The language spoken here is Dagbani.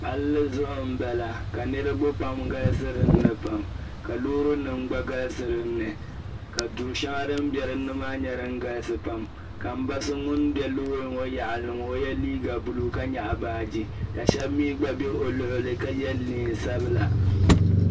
palli zuɣu n pala ka niriba pam galisi dinni pam ka loorinima gba galisi dinni pam ka duri shɛŋa din be dinni maa nye dinn galisi pam ka m ba so ŋun be loori ŋɔ yaɣili li ŋɔ ka o ye liiga blue ka nyaɣi baaji ka shab mi gba be o luɣili ka ye neen'sabila .